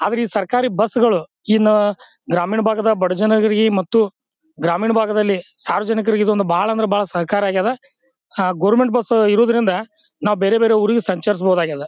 ಆದರ ಈ ಸರಕಾರಿ ಬಸ್ ಗಳು ಇನ್ನು ಗ್ರಾಮೀಣ ಭಾಗದ ಬಡಜನರಿಗೆ ಮತ್ತು ಗ್ರಾಮೀಣ ಭಾಗದಲ್ಲಿ ಸಾರ್ವಜನಿಕರಿಗೆ ಇದೊಂದು ಬಾಳ ಅಂದ್ರ ಬಾಳ ಸಹಕಾರಿಯಾಗಾದ. ಅಹ್ ಗವರ್ನಮೆಂಟ್ ಬಸ್ ಇರೋದ್ರಿಂದ ನಾವು ಬೇರೆ ಬೇರೆ ಊರಿಗೆ ಸಂಚರಿಸಬಹುದಾಗ್ಯದ.